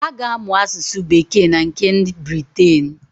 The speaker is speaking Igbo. Ha ga-amụ asụsụ bekee nke nd Briten.